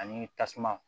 Ani tasuma